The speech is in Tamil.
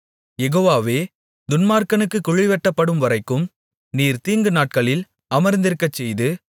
யெகோவாவே துன்மார்க்கனுக்குக் குழிவெட்டப்படும்வரைக்கும் நீர் தீங்கு நாட்களில் அமர்ந்திருக்கச்செய்து